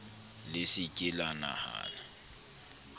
le se ke la nahana